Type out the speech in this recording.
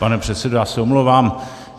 Pane předsedo, já se omlouvám.